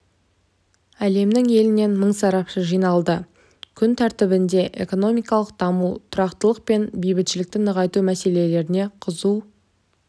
әлемнің елінен мың сарапшы жиналды күн тәртібініде экономикалық даму тұрақтылық пен бейбітшілікті нығайту мәселелері қызу